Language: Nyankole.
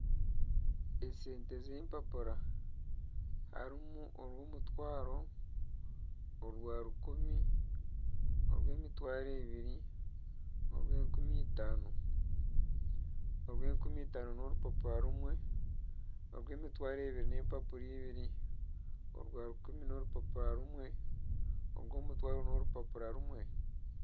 Esente z'empapura hariho orw'omutwaro orwa rukumi , orw'emitwaro ebiri hamwe norw'enkumi itaano, orw'enkumi itaano n'orupapura rumwe ,orw'emitwaro ebiri n'empapura ibiri, orwarukumi n'orupapura rumwe ,orw'omutwaro n'orupapura rumwe